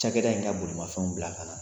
Cakɛda in ka bolomafɛnw bila ka na